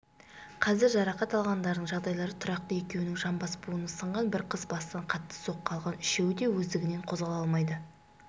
қазір жарақат алғандардың жағдайлары тұрақты екеуінің жамбас буыны сынған бір қыз бастан қатты соққы алған үшеуі де өздігінен қозғала алмайды